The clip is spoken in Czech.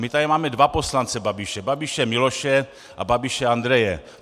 My tady máme dva poslance Babiše - Babiše Miloše a Babiše Andreje.